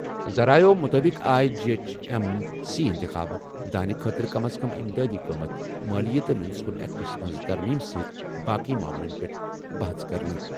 ذٔرایعو مُطٲبِق آیہِ G H M C اِنتِخاب، دانہِ خٲطرٕ کم از کم امدادی قۭمت، مٲلِیہ تہٕ میونسپل ایکٹس منٛز ترمیٖم سۭتۍ باقٕے معاملَن پٮ۪ٹھ بَحَژ کرنہٕ۔